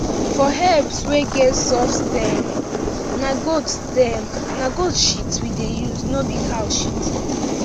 for herbs wey get soft stem na goat stem na goat shit we dey use no be cow shit